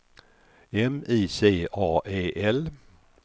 M I C A E L